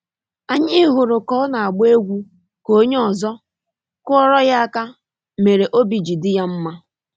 Anyị hụrụ ka ọ na-agba egwu ka onye ọ̀zọ́, kụọrô ya aka mere obi ji dị ya mma